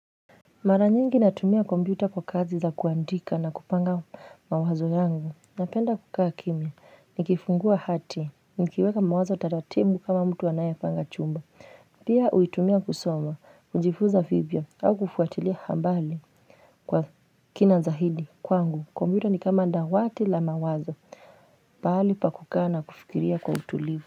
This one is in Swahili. Mara nyingi natumia kompyuta kwa kazi za kuandika na kupanga mawazo yangu. Napenda kukaa kimya, nikifungua hati, nikiweka mawazo taratibu kama mtu anayepanga chumba. Pia huitumia kusoma, kujifunza vivyo, au kufuatilia habari kwa kina za zaidi kwangu. Kompyuta ni kama dawati la mawazo. Pahali pa kukaa na kufikiria kwa utulivu.